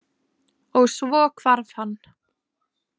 Og svo hvarf hann.